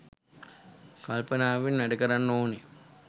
කල්පනාවෙන් වැඩ කරන්න ඕනේ.